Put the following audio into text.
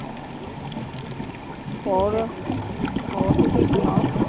ਹੋਰ, ਹੋਰ ਤੂਸੀ ਸੁਣਾਓ?